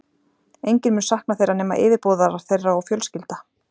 Enginn mun sakna þeirra nema yfirboðarar þeirra og fjölskylda.